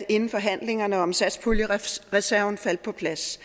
inden forhandlingerne om satspuljereserven faldt på plads